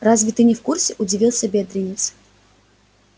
разве ты не в курсе удивился бедренец